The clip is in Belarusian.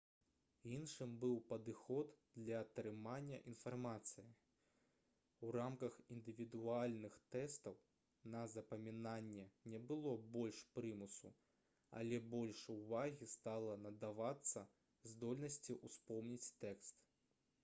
іншым быў падыход для атрымання інфармацыі у рамках індывідуальных тэстаў на запамінанне не было больш прымусу але больш увагі стала надавацца здольнасці ўспомніць тэкст